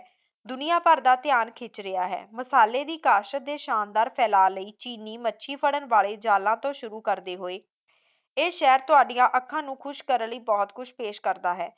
ਦੁਨੀਆ ਭਰ ਦਾ ਧਿਆਨ ਖਿੱਚ ਰਿਹਾ ਹੈ ਮਸਲੇ ਦੀ ਕਾਸ਼ਤ ਦੇ ਸ਼ਾਨਦਾਰ ਫੈਲਾਅ ਲਈ ਚੀਨੀ ਮੱਛੀ ਫੜਨ ਵਾਲੇ ਜਾਲਾਂ ਤੋਂ ਸ਼ੁਰੂ ਕਰਦੇ ਹੋਏ ਇਹ ਸ਼ਹਿਰ ਤੁਹਾਡੀਆਂ ਅੱਖਾਂ ਨੂੰ ਖੁਸ਼ ਕਰਨ ਲਈ ਬਹੁਤ ਕੁਝ ਪੇਸ਼ ਕਰਦਾ ਹੈ